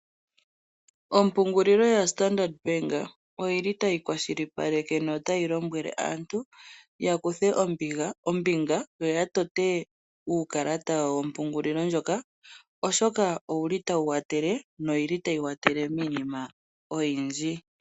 Ompungulilo yaStandard Bank otayi kwashilipaleke notayi lombwele aantu ya kuthe ombinga yo ya tote uukalata wawo wompungulilo ndjoka, oshoka otawu kwathele notayi kwathele miinima oyindji.